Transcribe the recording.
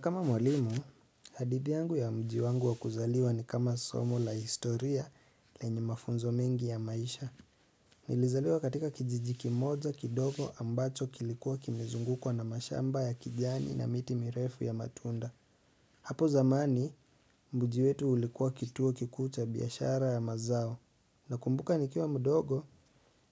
Kama mwalimu, hadithi yangu ya mji wangu wakuzaliwa ni kama somo la historia lenye mafunzo mengi ya maisha. Nilizaliwa katika kijiji kimoja kidogo ambacho kilikuwa kimizungukwa na mashamba ya kijani na miti mirefu ya matunda. Hapo zamani, mji wetu ulikuwa kituo kikuu cha biashara ya mazao. Na kumbuka nikiwa mdogo,